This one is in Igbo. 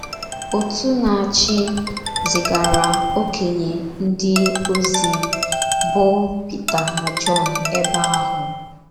Òtù na - achị zigara okenye ndị ozi bụ́ Pita na Jọn ebe ahụ.